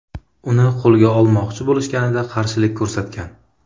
Uni qo‘lga olmoqchi bo‘lishganida qarshilik ko‘rsatgan.